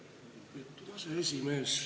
Lugupeetud aseesimees!